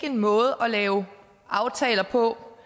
en måde at lave aftaler på